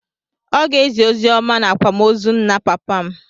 Ọ ga-ezi oziọma n'akwamozu nna papa m.